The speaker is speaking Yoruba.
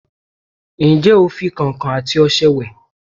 Ǹjé o fi kọ̀ǹkọ̀ àti ọṣẹ wẹ̀?